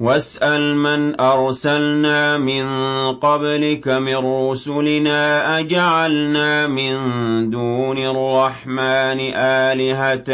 وَاسْأَلْ مَنْ أَرْسَلْنَا مِن قَبْلِكَ مِن رُّسُلِنَا أَجَعَلْنَا مِن دُونِ الرَّحْمَٰنِ آلِهَةً